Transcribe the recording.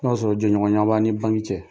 N'a sɔrɔ jɛɲɔgɔnya b'a' ni banki cɛ ni bange cɛ